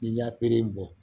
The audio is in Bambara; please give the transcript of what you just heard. N'i y'a bɔ